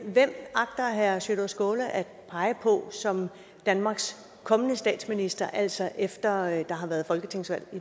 hvem agter herre sjúrður skaale at pege på som danmarks kommende statsminister altså efter at der har været folketingsvalg